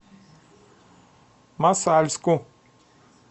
мосальску